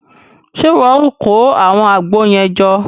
Ṣe iwọ o kó awọn Àgbo yẹn jọ?